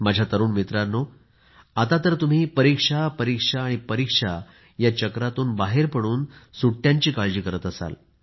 माझ्या तरुण मित्रांनो आता तर तुम्ही परीक्षा परीक्षा परीक्षेतून बाहेर पडून सुट्यांची काळजी करत असाल